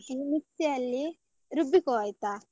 ಹಾಕಿ mixie ಅಲ್ಲಿ ರುಬ್ಬಿಕೊ ಆಯ್ತಾ.